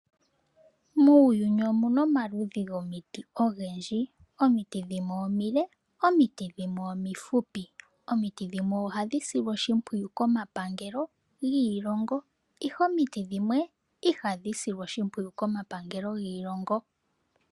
Muuyuni omuna omaludhi gomiti ogendji omiti dhimwe omile, omiti dhimwe omifupi, omiti dhimwe ohadhi silwa oshimpwiyu koma pangelo dhiilongo ihe omiti dhimwe ihadhi silwa oshimpwiyu komapangelo giilongo.